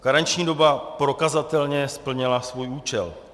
Karenční doba prokazatelně splnila svůj účel.